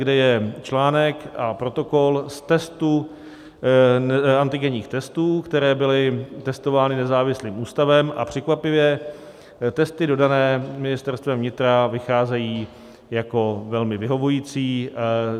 , kde je článek a protokol z antigenních testů, které byly testovány nezávislým ústavem, a překvapivě testy dodané Ministerstvem vnitra vycházejí jako velmi vyhovující.